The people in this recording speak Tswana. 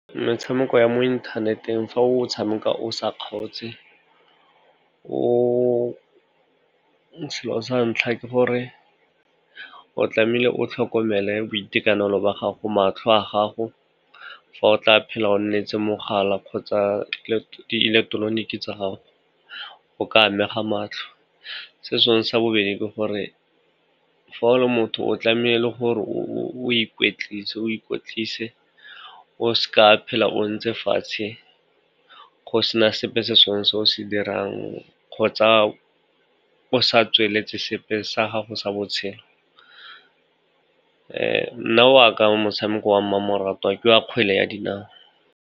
Metshameko ya mo inthaneteng fa o tshameka o sa kgaotse, selo sa ntlha ke gore o tlamehile o tlhokomele boitekanelo ba gago, matlho a gago. Fa o tla phela o nne etse mogala kgotsa ileketeroniki tsa gago o ka amega matlho. Se sengwe sa bobedi ke gore fa o le motho o tlamehile gore o ikwetlise, o seka wa phela o ntse fatshe go sena sepe se sengwe se o se dirang kgotsa o sa tsweletse sepe sa gago sa botshelo. Nna waka motshameko wa mmamoratwa ke wa kgwele ya dinao.